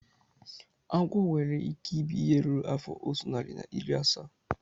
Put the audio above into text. Agwo nwere ike ibi ihe ruru afọ otu narị na iri asaa